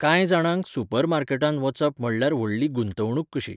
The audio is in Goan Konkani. कांय जाणांक, सुपरमार्केटांत वचप म्हणल्यार व्हडली गुंतवणूक कशी.